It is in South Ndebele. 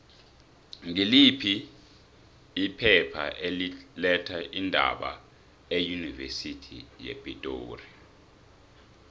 ngiliphi iphepha eli letha iindaba eunivesithi yepitori